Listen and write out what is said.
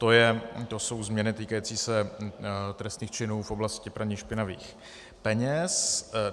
To jsou změny týkající se trestných činů v oblasti praní špinavých peněz.